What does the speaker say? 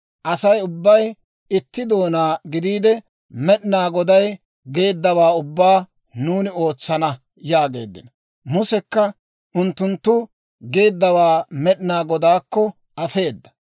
Asay ubbay itti doonaa gidiide, «Med'inaa Goday geeddawaa ubbaa nuuni ootsana» yaageeddino. Musekka unttunttu geeddawaa Med'inaa Godaakko afeedda.